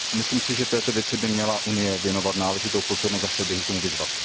Myslím si, že této věci by měla Unie věnovat náležitou pozornost a chtěl bych ji k tomu vyzvat.